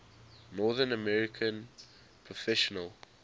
north american professional